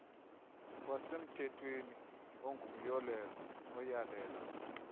wasemthethweni ongumyolelo oyalela